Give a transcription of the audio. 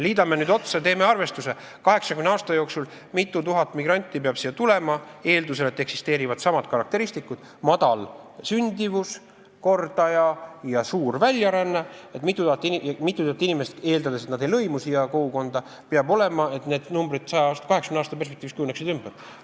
Teeme arvestuse: kui mitu tuhat migranti peab 80 aasta jooksul siia tulema, eeldusel, et eksisteerivad samad karakteristikud – madal sündimuskordaja ja suur väljaränne –, kui mitu tuhat inimest, eeldades, et nad ei lõimu siia kogukonda, et need numbrid 80 aasta perspektiivis kujuneksid ümber?